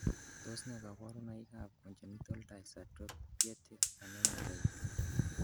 Tos nee koborunoikab Congenital dyserythropoietic anemia type 2?